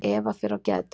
Eva fer á geðdeild.